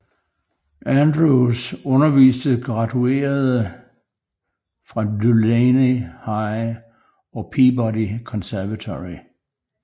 Andrews underviste graduerede fra Dulaney High og Peabody Conservatory